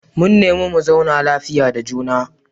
Mun nemi mu zauna lafiya da juna.